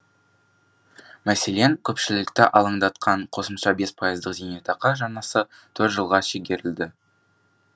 мәселен көпшілікті алаңдатқан қосымша бес пайыздық зейнетақы жарнасы төрт жылға шегерілді